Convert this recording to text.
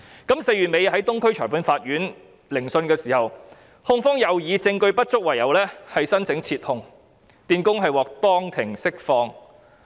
於4月底在東區裁判法院聆訊時，控方又以證據不足為由申請撤控，電工獲當庭釋放。